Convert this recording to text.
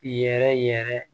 Yɛrɛ yɛrɛ